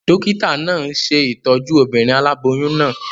Dókítà náà n ṣe ìtọ́jú obìnrin aláboyún náà